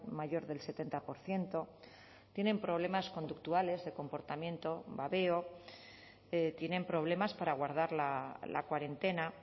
mayor del setenta por ciento tienen problemas conductuales de comportamiento babeo tienen problemas para guardar la cuarentena